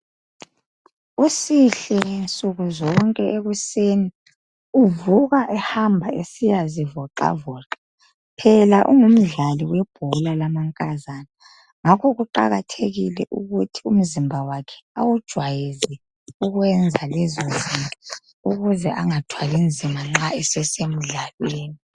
Usihle nsuku zonke ekuseni uvuka ehamba esiya zivoxavoxa phela ungumdlali webhola lamankazana ngakho kuqakathekile ukuthi umzimba wakhe awujwayeze ukwenza lezo zinto ukuze angathwali nzima nxa esesemdlalweni